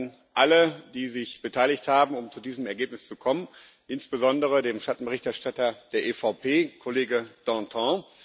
Danke an alle, die sich beteiligt haben, um zu diesem Ergebnis zu kommen, insbesondere dem Schattenberichterstatter der EVP, Kollege Dantin.